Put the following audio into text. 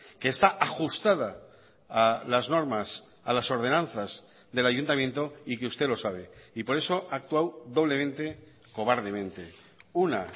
que está ajustada a las normas a las ordenanzas del ayuntamiento y que usted lo sabe y por eso ha actuado doblemente cobardemente una